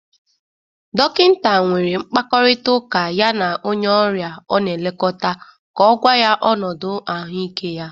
Dokịnta nwere mkpakọrịtaụka ya na onye ọrịa ọ na-elekọta ka ọ gwa ya ọnụdụ ahụike ya.